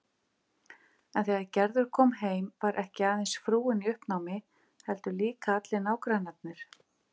En þegar Gerður kom heim var ekki aðeins frúin í uppnámi heldur líka allir nágrannarnir.